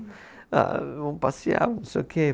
Ah, vamos passear. Não sei o quê